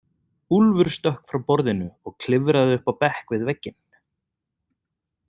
Úlfur stökk frá borðinu og klifraði upp á bekk við vegginn.